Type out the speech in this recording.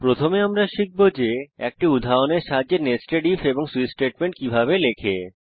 প্রথমে আমরা শিখব যে একটি উদাহরণের সাথে নেস্টেড ইফ এবং সুইচ স্টেটমেন্ট কিভাবে লেখে